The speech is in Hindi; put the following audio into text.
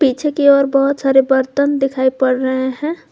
की ओर और बहुत सारे बर्तन दिखाई पड़ रहे हैं।